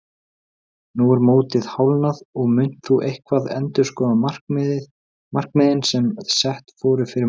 Nú er mótið hálfnað og munt þú eitthvað endurskoða markmiðin sem sett voru fyrir mót?